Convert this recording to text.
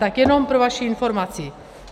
Tak jenom pro vaši informaci.